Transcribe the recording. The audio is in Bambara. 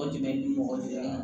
O tun bɛ ni mɔgɔ de ye